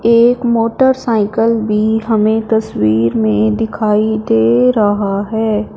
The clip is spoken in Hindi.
एक मोटरसाइकल भी हमें तस्वीर में दिखाई दे रहा है।